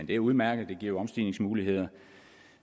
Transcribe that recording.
det er udmærket det giver omstigningsmuligheder